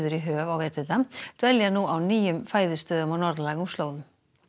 í höf á veturna dvelja nú á nýjum fæðustöðum á norðlægum slóðum